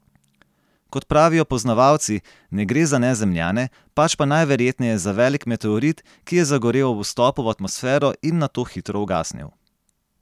Kot pravijo poznavalci, ne gre za Nezemljane, pač pa najverjetneje za velik meteorit, ki je zagorel ob vstopu v atmosfero in nato hitro ugasnil.